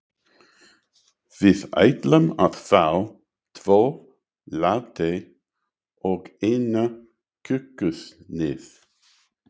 Við ætlum að fá tvo latte og eina kökusneið.